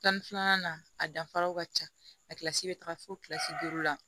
Tan ni filanan a danfaraw ka ca a kilasi bɛ taga fo kilasi duuru la